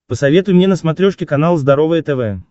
посоветуй мне на смотрешке канал здоровое тв